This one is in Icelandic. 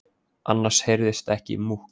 Annars heyrðist ekki múkk.